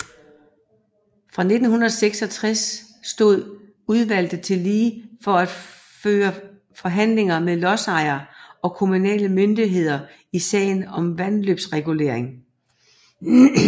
Fra 1966 stod udvlget tillige for at føre forhandling med lodsejere og kommunale myndigheder i sager om vandløbsregulering